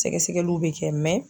Sɛgɛsɛgɛliw bɛ kɛ